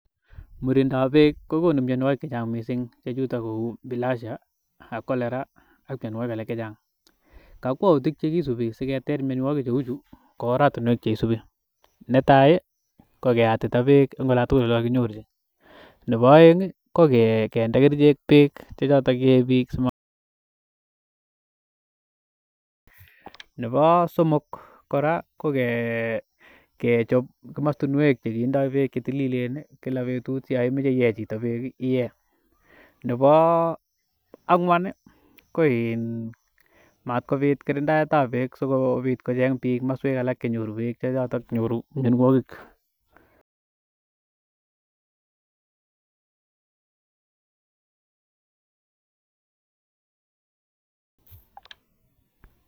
Murindap beek kokonu mionwogik che chang mising che chuton ko bilhazia, cholera ak mianwogik alak che chang. Kakwautik che kisubi siketer mionwogik cheu chu ko oratinuek che isubi. Netai ko keyatita beek eng olan tugul ole kakinyorchi. Nebo aeng ko kende kerichek beek che choton yee biik sima. Nebo somok kora ko kechop komostinwek chekindo beek che tililen kila betut yo imoche iye chito beek iye. Nebo angwan ko in mat kopit kirindaet ab beek sigopit kocheng biik kimoswek alak che nyoru beek che choton nyoru mianeogik.